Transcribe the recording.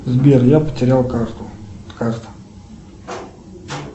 сбер я потерял карту карта